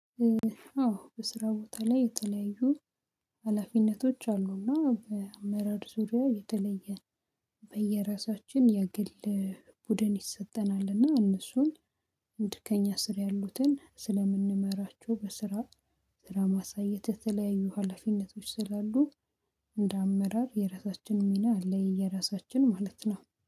አዎ በስራ ቦታ ላይ የተለያዩ ሀላፊነቶች አሉእና በአመራር ዙሪያ የተለየ በየራሳችን የግል ቡድን ይሰጠናልእና እነሱን ድከኛ ስር ያሉትን ስለምንመራችው በስራ ስራ ማሳየት የተለያዩ ሀላፊነቶች ስላሉ እንደ አመራር የራሳችን ሚና አለ። የየራሳችን ማለት ነው